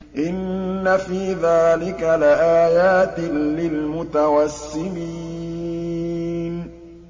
إِنَّ فِي ذَٰلِكَ لَآيَاتٍ لِّلْمُتَوَسِّمِينَ